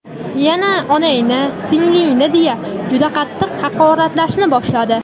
Yana "onangni", "singlingni", deya juda qattiq haqoratlashni boshladi.